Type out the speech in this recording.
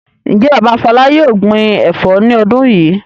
Ǹjẹ́ bàbá Fọlá yóò gbin ẹ̀fọ́ ní ọdún yìí?